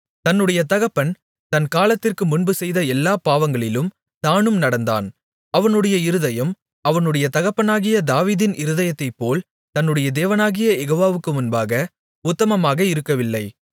தன்னுடைய தகப்பன் தன் காலத்திற்குமுன்பு செய்த எல்லாப் பாவங்களிலும் தானும் நடந்தான் அவனுடைய இருதயம் அவனுடைய தகப்பனாகிய தாவீதின் இருதயத்தைப்போல் தன்னுடைய தேவனாகிய யெகோவாவுக்கு முன்பாக உத்தமமாக இருக்கவில்லை